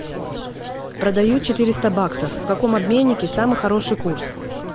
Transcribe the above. продаю четыреста баксов в каком обменнике самый хороший курс